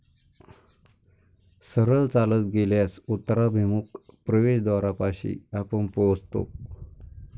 सरळ चालत गेल्यास उत्तराभिमुख प्रवेशद्वारापाशी आपण पोहोचतो.